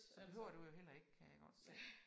Så behøver du jo heller ikke kan jeg godt se